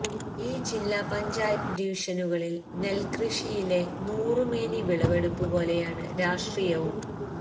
ഈ ജില്ലാ പഞ്ചായത്ത് ഡിവിഷനുകളിൽ നെൽക്കൃഷിയിലെ നൂറുമേനി വിളവെടുപ്പു പോലെയാണ് രാഷ്ട്രീയവും